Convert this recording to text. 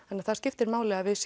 þannig að það skiptir máli að við